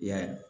I y'a ye